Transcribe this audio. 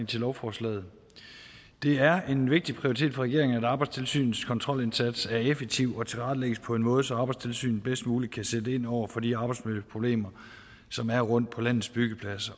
til lovforslaget det er en vigtig prioritet for regeringen at arbejdstilsynets kontrolindsats er effektiv og tilrettelægges på en måde så arbejdstilsynet bedst muligt kan sætte ind over for de arbejdsmiljøproblemer som er rundtom på landets byggepladser